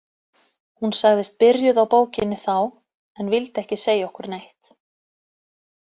Hún sagðist byrjuð á bókinni þá en vildi ekki segja okkur neitt.